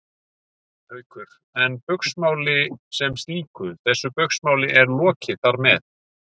Haukur: En Baugsmáli sem slíku, þessu Baugsmáli er lokið þar með?